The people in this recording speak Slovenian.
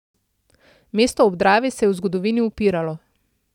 Mesto ob Dravi se je v zgodovini upiralo.